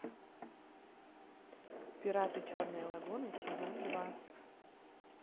пираты черной лагуны сезон два